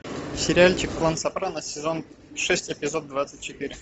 сериальчик лан сопрано сезон шесть эпизод двадцать четыре